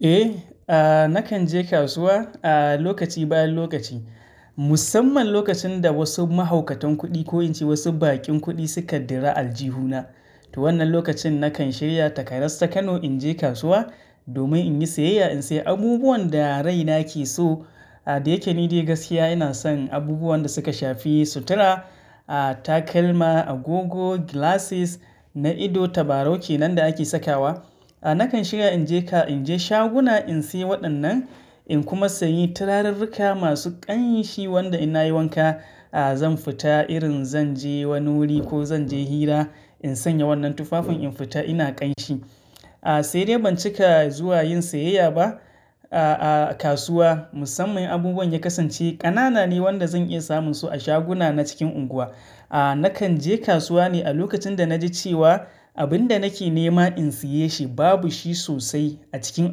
Eh, nakan je kasuwa a lokaci bayan lokaci. Musamman lokacin da wasu mahaukatan kuɗi ko in ce wasu baƙin kuɗi suka dira aljihu na. To wannan lokacin nakan shirya takaras ta Kano in je kasuwa domin in yi siyayya, in sayi abubuwan da raina ke so. Da yake ni dai gaskiya ina son abubuwan da suka shafi sutura, takalma, agogo, glasses na ido, tabarau kenan da ake sakawa. Nakan shiga in je ka-- in je shaguna in sayi waɗannan in kuma sayi turarurruka masu ƙanshi wanda in na yi wanka, zan fita irin zan je wani wuri ko zan je hira in sanya wannan tufafin in fita ina ƙanshi. Sai dai ban cika zuwa yin siyayya ba a kasuwa. Musamman abubuwan ya kasance ƙanana ne wanda zan iya samun su a shaguna na cikin unguwa. Nakan je kasuwa ne a lokacin da na ji cewa abin da nake nema in siye shi babu shi sosai a cikin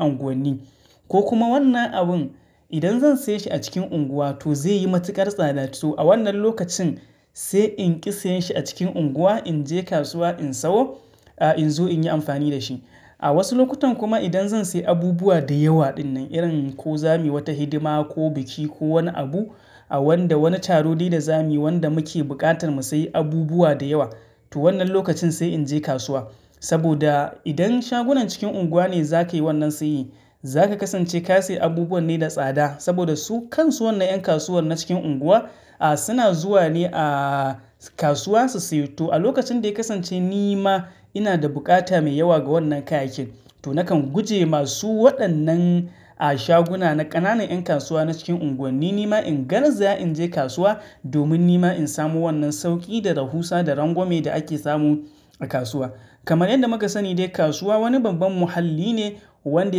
unguwanni. Ko kuma wannan abin idan zan saye shi a cikin unguwa to zai yi matuƙar tsada. To a wannan lokacin sai in ƙi sayen shi a cikin unguwa, in je kasuwa in sawo, in zo in yi amfani da shi. A wasu lokutan kuma idan zan sayi abubuwa da yawa ɗinnan irin ko za muyi wata hidima ko biki ko wani abu a wanda wani taro dai da za muyi wanda muke buƙatar mu sayi abubuwa da yawa, to wannan lokacin sai in je kasuwa. Saboda idan shagunan cikin unguwa ne za ka yi wannan saye, za ka kasance ka sayi abubuwan ne da tsada saboda su kan su wannan 'yan kasuwar nan cikin unguwa suna zuwa ne a kasuwansu su yi. To a lokacin da ya kasance ni ma ina da buƙata mai yawa ga wannan kayayyakin to nakan gujema su waɗannan shaguna na ƙananan 'yan kasuwa na cikin unguwanni. Ni ma in garzaya in je kasuwa domin ni ma in samo wannan sauƙi da rahusa da rangwame da ake samu a kasuwa. Kamar yadda muka sani dai kasuwa wani babban muhalli ne wanda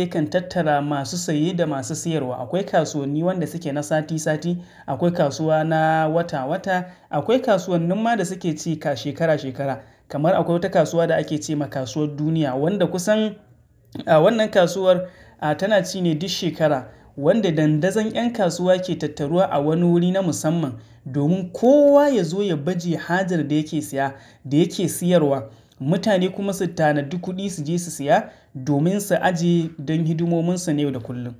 yakan tattara masu saye da masu siyarwa. Akwai kasuwanni waɗanda suke na sati sati, akwai kasuwa na wata wata, akwai kasuwannin ma da suke ci shekara shekara. Kamar akwai wata kasuwa da ake ce ma Kasuwar Duniya wadda kusan wannan kasuwar tana ci ne duk shekara wanda dandazon 'yan kasuwa ke tattaruwa a wani wuri na musamman domin kowa ya zo ya baje hajar da yake siya da yake siyarwa. Mutane kuma su tanadi kuɗi su je su siya domin su ajiye don hidimominsu na yau da kullum.